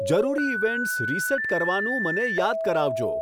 જરૂરી events reset કરવાનું મને યાદ કરાવજો